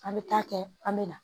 An bɛ taa kɛ an bɛ na